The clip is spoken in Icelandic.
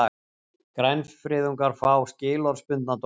Grænfriðungar fá skilorðsbundna dóma